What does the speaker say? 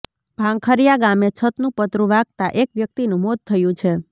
ભાંખરિયા ગામે છતનું પતરુ વાગતા એક વ્યક્તિનું મોત થયું છે